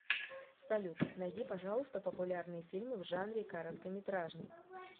салют найди пожалуйста популярные фильмы в жанре короткометражный